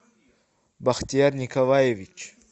бахтияр николаевич